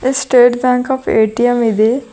State bank of ATM ಇದೆ.